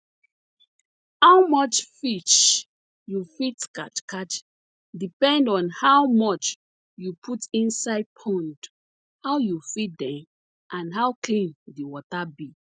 how much fish you fit catch catch depend on how much you put inside pond how you feed dem and how clean di water be